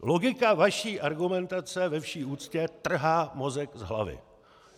Logika vaší argumentace ve vší úctě trhá mozek z hlavy.